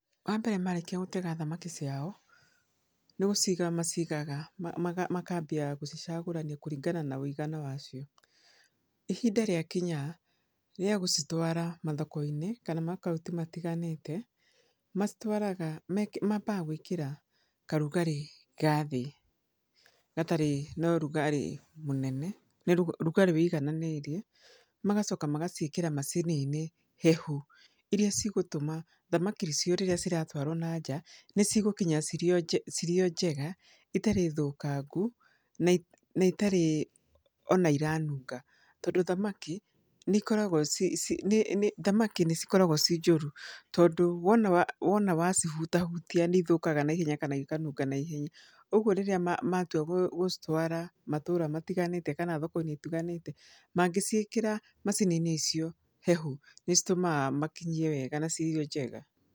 Wa mbere marĩkia gũtega thamaki ciao, nĩ gũciga macigaga makambia gũcicagũrania kũringana wa wĩigana wacio. Ihinda rĩakinya, rĩa gũcitwara mathoko-inĩ, kana makauntĩ matiganĩte, macitwaraga, mambaga gwĩkĩra karugarĩ ga thĩ, gatarĩ na ũrugarĩ mũnene, rugarĩ wĩigananĩirie. Magacoka magaciĩkĩra macini-inĩ hehu, irĩa cigũtũma thamaki icio rĩrĩa ciratwarwo na nja, nĩ cigũkinya cirĩ o cirĩ o njega, itarĩ thũkangu, na na itarĩ ona iranunga. Tondũ thamaki, nĩ ikoragwo ci nĩ nĩ thamaki nĩ cikoragwo ci njũru. Tondũ, wona wona wacihutahutia nĩ ithũkaga naihenya kana ikanunga naihenya. Ũguo rĩrĩa matua gũcitwara matũũra matiganĩte kana thoko-inĩ itiganĩte, mangĩcikĩra macini-inĩ icio hehu, nĩ citũmaga makinyie wega na cirĩ o njega.